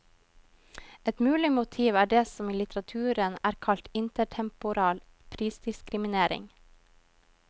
Ett mulig motiv er det som i litteraturen er kalt intertemporal prisdiskriminering.